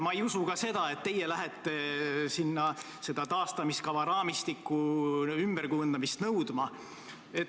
Ma ei usu ka seda, et teie lähete sinna taastamiskava raamistiku ümberkujundamist nõudma.